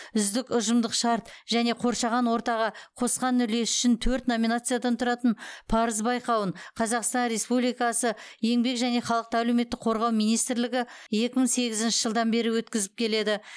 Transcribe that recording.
үздік ұжымдық шарт және қоршаған ортаға қосқан үлесі үшін төрт номинациядан тұратын парыз байқауын қазақстан республикасы еңбек және халықты әлеуметтік қорғау министрлігі екі мың сегізінші жылдан бері өткізіп келеді